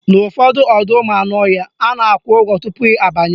N'ụfọdụ ọdọụmụanụọhịa, a na-akwụ ụgwọ tupu abanye